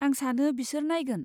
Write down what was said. आं सानो बिसोर नायगोन।